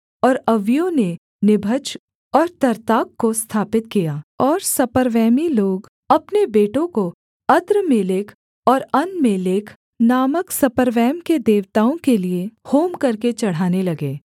और अव्वियों ने निभज और तर्त्ताक को स्थापित किया और सपर्वैमी लोग अपने बेटों को अद्रम्मेलेक और अनम्मेलेक नामक सपर्वैम के देवताओं के लिये होम करके चढ़ाने लगे